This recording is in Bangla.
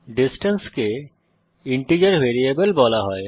ডিসট্যান্স কে ইন্টিজার ভ্যারিয়েবল বলা হয়